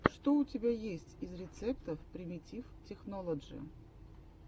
что у тебя есть из рецептов примитив технолоджи